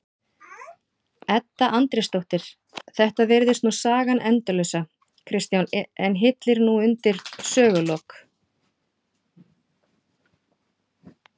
Edda Andrésdóttir: Þetta virðist nú sagan endalausa Kristján en hyllir nú undir sögulok?